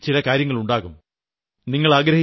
നിങ്ങളുടെ മനസ്സിൽ ചില കാര്യങ്ങൾ ഉണ്ടാകും